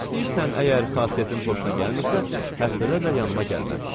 İstəyirsən, əgər xasiyyətin xoşuna gəlmirsə, həftədə də yanıma gəlmə.